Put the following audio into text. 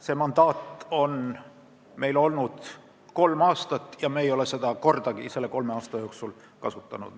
See mandaat on meil olnud kolm aastat ja me ei ole seda selle kolme aasta jooksul kordagi kasutanud.